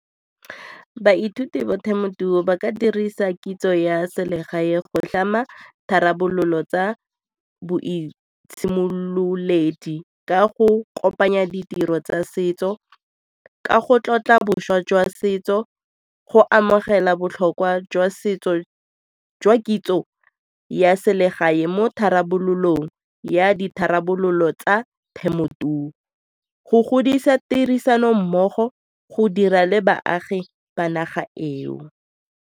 Baithuti ba ba ka dirisa kitso ya selegae go tlhama tharabololo tsa boitshimololedi ka go kopanya ditiro tsa setso ka go tlotla boswa jwa setso, go amogela botlhokwa jwa setso jwa kitso ya selegae mo tharabololo ya ditharabololo tsa temothuo, go godisa tirisanommogo, go dira le baagi ba naga eo.